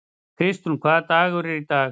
Kristrún, hvaða dagur er í dag?